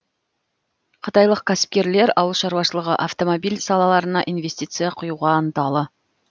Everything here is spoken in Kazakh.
қытайлық кәсіпкерлер ауыл шаруашылығы автомобиль салаларына инвестиция құюға ынталы